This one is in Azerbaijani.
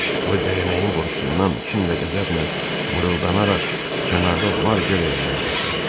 O dəyənəyin qorxusundan kin və qəzəblə mırıldanaraq kənarda var-gəl eləməyə başladı.